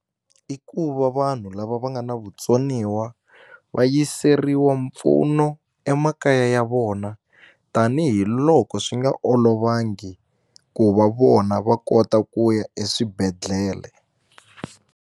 I ku va vanhu lava va nga na vutsoniwa va yiseriwa mpfuno emakaya ya vona tanihiloko swi nga olovangi ku va vona va kota ku ya eswibedhlele.